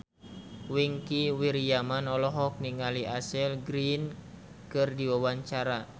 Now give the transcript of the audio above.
Wingky Wiryawan olohok ningali Ashley Greene keur diwawancara